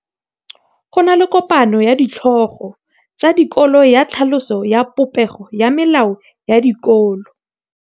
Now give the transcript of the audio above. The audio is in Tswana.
Go na le kopanô ya ditlhogo tsa dikolo ya tlhaloso ya popêgô ya melao ya dikolo.